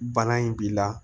Bana in b'i la